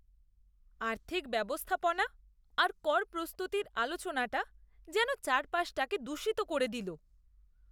আর্থিক ব্যবস্থাপনা আর কর প্রস্তুতির আলোচনাটা যেন চারপাশটাকে দূষিত করে দিল।